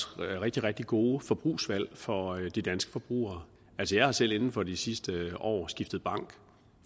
rigtig rigtig gode forbrugsvalg for de danske forbrugere jeg har selv inden for de sidste år skiftet bank